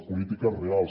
polítiques reals